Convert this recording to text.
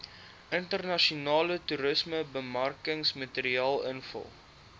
internasionale toerismebemarkingsmateriaal invul